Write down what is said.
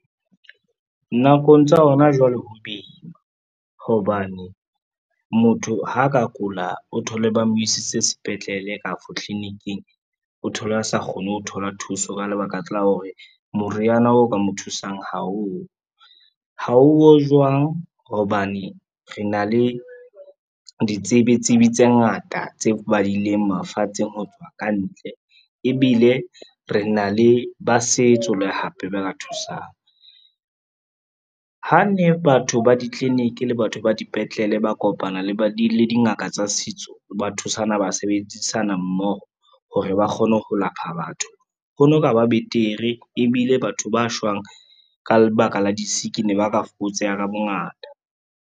Nakong tsa hona jwale ho boima hobane, motho ha a ka kula o thole ba mo isitse sepetlele kapa tlilinkng o thole a sa kgone ho thola thuso, ka lebaka la hore moriana oo ka mo thusang haowo. Haowo jwang hobane re na le ditsebi tsibe tse ngata tse badileng mafatsheng ho tswa kantle, ebile re na le ba setso le hape ba ka thusang. Ha ne batho ba ditliliniki le batho ba dipetlele, ba kopana le dingaka tsa setso, ba thusana, ba sebedisana mmoho hore ba kgone ho lapha batho ho no ka ba betere ebile batho ba shwang ka lebaka la di-sick ne ba ka fokotseha ka bongata